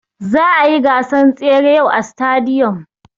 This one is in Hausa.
Za'a yi gasan tsere yau a sitadiyom.